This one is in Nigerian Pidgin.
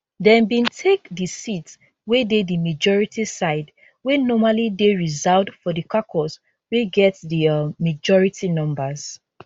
dem bin take di seats wey dey di majority side wey normally dey reserved for di caucus wey get di um majority numbers